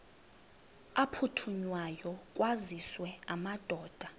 aphuthunywayo kwaziswe amadoda